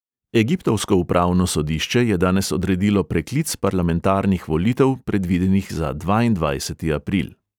Egiptovsko upravno sodišče je danes odredilo preklic parlamentarnih volitev, predvidenih za dvaindvajseti april.